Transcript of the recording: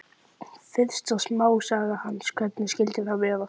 Fyrsta smásaga hans, Hvernig skyldi það vera?